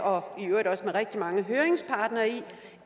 og i øvrigt også med rigtig mange høringsparter